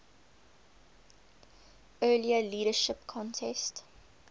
earlier leadership contest